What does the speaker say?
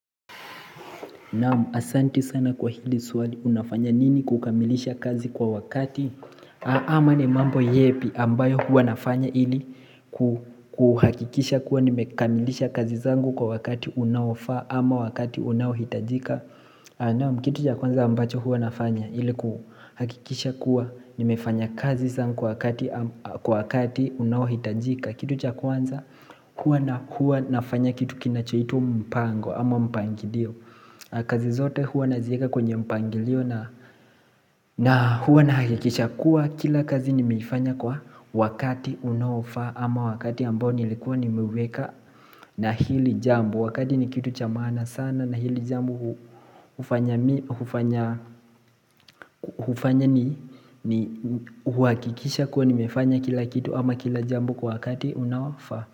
Naam asanti sana kwa hili swali unafanya nini kukamilisha kazi kwa wakati ama ni mambo yepi ambayo hua nafanya ili kuhakikisha kuwa nimekamilisha kazi zangu kwa wakati unaofaa ama wakati unaohitajika Naam kitu cha kwanza ambacho hua nafanya ili kuhakikisha kuwa nimefanya kazi zangu wakati unaohitajika Kitu cha kwanza hua na hua nafanya kitu kinachoitwa mpango ama mpangilio kazi zote huwa nazieka kwenye mpangilio na huwa nahakikisha kuwa kila kazi nimeifanya kwa wakati unaofaa ama wakati ambao nilikuwa nimeweka na hili jambo wakati ni kitu cha maana sana na hili jambo hufanya ni huhakikisha kuwa nimefanya kila kitu ama kila jambo kwa wakati unaofaa.